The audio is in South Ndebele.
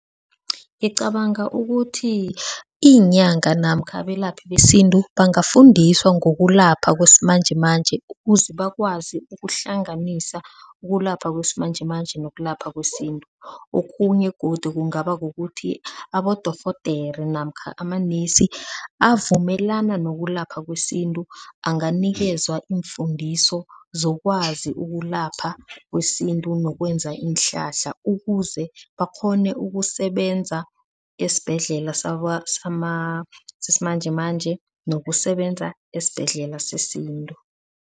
Ngicabanga ukuthi iinyanga namkha abelaphi besintu bangafundiswa ngokulapha kwesimanjemanje ukuze bakwazi ukuhlanganisa ukulapha kwesimanjemanje nokulapha kwesintu. Okhunye godu kungaba kukuthi abodorhodere namkha amanesi avumelana nokulapha kwesintu anganikelwa iimfundiso zokwazi ukulapha kwesintu, nokwenza iinhlahla ukuze bakghone ukusebenza esibhedlela sesimanjemanje nokusebenza esibhedlela sesintu.